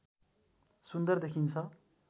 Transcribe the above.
सुन्दर देखिन्छ